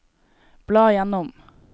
bla gjennom